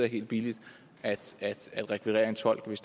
helt billigt at rekvirere en tolk hvis